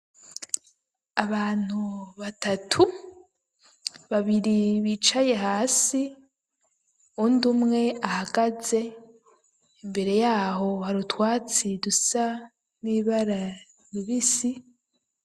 Abantu batatu babiri bicaye hasi uwundi umwe ahagaze imbere yaho harutwatsi dusa n'ibara ribisi.